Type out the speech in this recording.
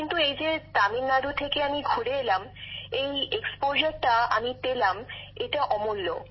কিন্তু এই যে তামিলনাড়ু থেকে আমি ঘুরে এলাম অনেক কিছু জানতে পারলাম এটা অমূল্য